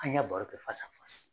An ɲa baro kɛ